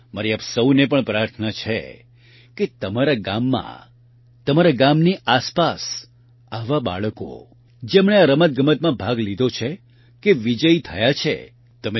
મારી આપ સહુને પણ પ્રાર્થના છે કે તમારા ગામમાં તમારા ગામની આસપાસ આવા બાળકો જેમણે આ રમતગમતમાં ભાગ લીધો છે કે વિજયી થયા છે તમે સપરિવાર તેમની સાથે જાવ